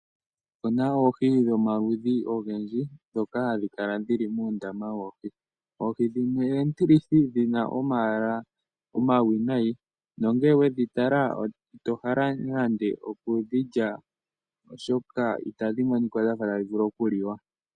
Opu na oohi dhomaludhi ogendji ndhoka hadhi kala dhili muundama woohi. Oohi dhimwe oontilithi dhi na omayala omayinayi, nongele owedhi tala ito hala nande okudhi lya oshoka itadhi monika dhafa tadhi vulu oku liwa.